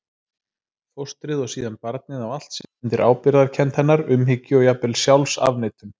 Fóstrið og síðan barnið á allt sitt undir ábyrgðarkennd hennar, umhyggju og jafnvel sjálfsafneitun.